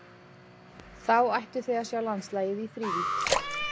Þá ættuð þið að sjá landslagið í þrívídd.